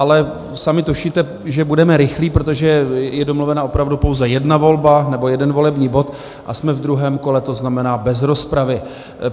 Ale sami tušíte, že budeme rychlí, protože je domluvena opravdu pouze jedna volba, nebo jeden volební bod, a jsme v druhém kole, to znamená bez rozpravy.